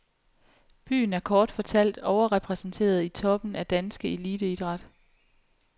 Byen er kort fortalt overrepræsenteret i toppen af danske eliteidræt.